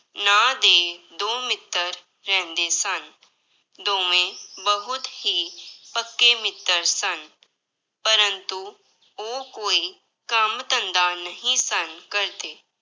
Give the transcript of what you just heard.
ਨਾਂਂ ਦੇ ਦੋ ਮਿੱਤਰ ਰਹਿੰਦੇ ਸਨ, ਦੋਵੇਂ ਬਹੁਤ ਹੀ ਪੱਕੇ ਮਿੱਤਰ ਸਨ ਪਰੰਤੂ ਉਹ ਕੋਈ ਕੰਮ ਧੰਦਾ ਨਹੀਂ ਸਨ ਕਰਦੇ।